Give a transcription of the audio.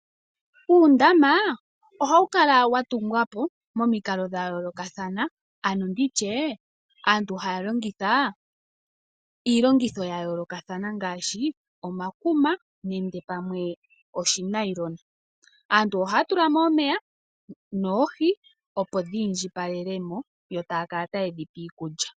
Uundama oha wu kala wa tungwa po moikalo dha yoolokathana, ano ndi tye aantu haa longitha iillongitho ya yoolokathana, ngaashi omakuma, nenge pamwe oshinailona. Aantu ohaa tula mo omeya, noohi opo dhi indjipalele mo, yo taya kala taye dhi pe iikulya.